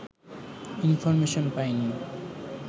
information পাইনি